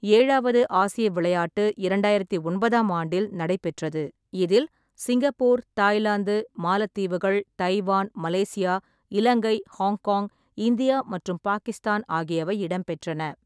ஏழாவது ஆசிய விளையாட்டு இரண்டாயிரத்து ஒன்பதாம் ஆண்டில் நடைபெற்றது, இதில் சிங்கப்பூர், தாய்லாந்து, மாலத்தீவுகள், Taiwan, Malaysia, Ilangai, Hong Kong, India மற்றும் பாகிஸ்தான் ஆகியவை இடம்பெற்றன.